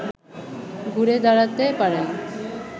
ঘুরে দাঁড়াতে পারেন